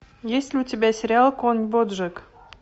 есть ли у тебя сериал конь боджек